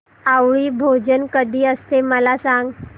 आवळी भोजन कधी असते मला सांग